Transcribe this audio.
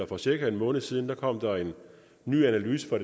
for cirka en måned siden kom der en ny analyse fra